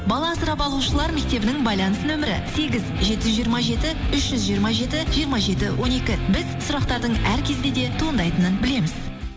бала асырап алушылар мектебінің байланыс нөмірі сегіз жеті жүз жиырма жеті үш жүз жиырма жеті жиырма жеті он екі біз сұрақтардың әр кезде де туындайтынын білеміз